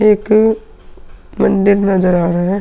एक मंदिर नजर आ रहा है।